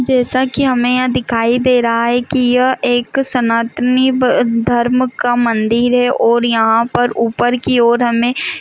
जैसा की हमे यहाँ दिखाई दे रहा है की यह एक सनातनी धर्म का मंदिर है और यहाँ पर ऊपर की और हमे--